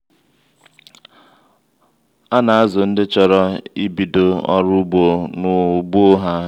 ana-azu ndi chọrọ ibido ọrụ ugbo n'ugbo ha